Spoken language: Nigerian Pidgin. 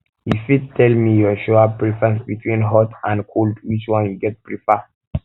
you fit tell um me your shower preference between hot um and cold which one you go prefer